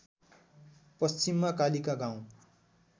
पश्चिममा कालिका गाउँ